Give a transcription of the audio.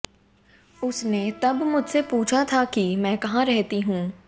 उसने तब मुझसे पूछा था कि मैं कहां रहती हूं